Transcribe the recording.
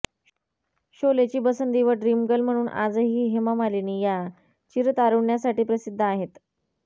शोलेची बसंती व ड्रिमगर्ल म्हणुन आजही हेमा मालिनी या चिरतारुण्यासाठी प्रसिध्द आहेत